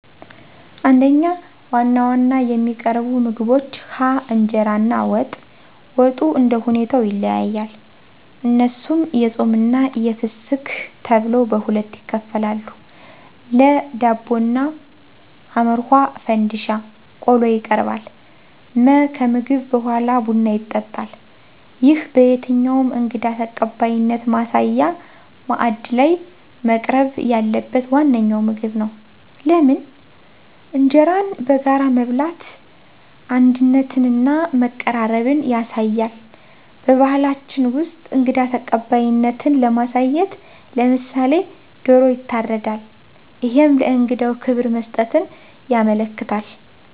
1. ዋና ዋና የሚቀርቡ ምግቦች ሀ. እንጀራ እና ወጥ፦ ወጡ እንደሁኔታው ይለያያል እነሱም የፆምና የፍስክት ተብለው በሁለት ይከፈላሉ ለ. ዳቦ እና ሐ. ፈንድሻ ቆሎ ይቀርባል መ. ከምግብ በሗላ ቡና ይጠጣል ይህ በየትኛውም እንግዳ ተቀባይነት ማሳያ ማዕድ ላይ መቅረብ ያለበት ዋነኛው ምግብ ነው። * ለምን? እንጀራን በጋራ መብላት አንድነትንና መቀራረብን ያሳያል። *በባህላችን ውስጥ እንግዳ ተቀባይነትን ለማሳየት *ለምሳሌ፦ ዶሮ ይታረዳል እሄም ለእንግዳው ክብር መስጠትን ያመለክታል።